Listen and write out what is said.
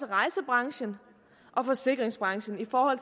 rejsebranchen og forsikringsbranchen for